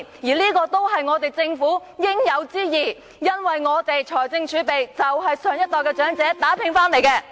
這些都是政府應有之義，因為我們的財政儲備就是長者年青時打拼得來的。